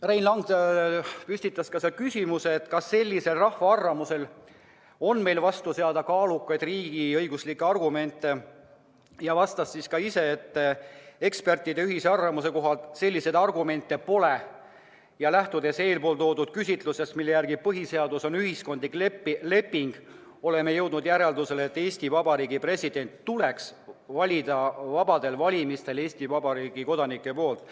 Ja Rein Lang püstitas ka küsimuse, kas sellisele rahva arvamusele on meil vastu seada kaalukaid riigiõiguslikke argumente, ja vastas ise, et ekspertide ühise arvamuse kohaselt selliseid argumente pole ja lähtudes eeltoodud käsitlusest, mille järgi põhiseadus on ühiskondlik leping, on jõutud järeldusele, et Eesti Vabariigi president tuleks valida vabadel valimistel Eesti Vabariigi kodanike poolt.